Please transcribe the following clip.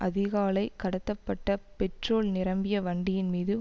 அதிகாலை கடத்தப்பட்ட பெட்ரோல் நிரம்பிய வண்டியின் மீது